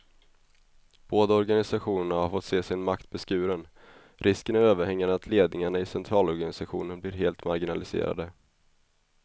Båda organisationerna har fått se sin makt beskuren, risken är överhängande att ledningarna i centralorganisationerna blir helt marginaliserade.